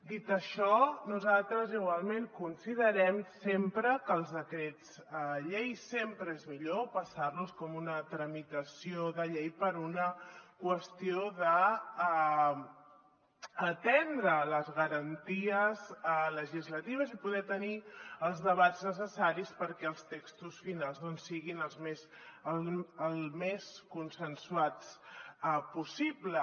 dit això nosaltres igualment considerem que els decrets llei sempre és millor passar los com una tramitació de llei per una qüestió d’atendre les garanties legislatives i poder tenir els debats necessaris perquè els textos finals doncs siguin el més consensuats possible